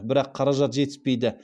бірақ қаражат жетіспейді